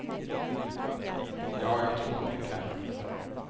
Ja, jag tror att vi kan.